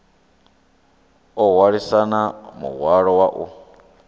o hwalisana muhwalo wa u